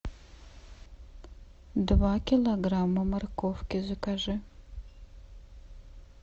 два килограмма морковки закажи